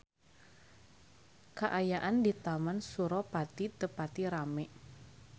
Kaayaan di Taman Suropari teu pati rame